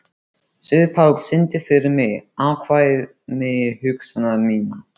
Sigurpáll, syngdu fyrir mig „Afkvæmi hugsana minna“.